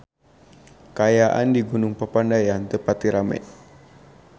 Kaayaan di Gunung Papandayan teu pati rame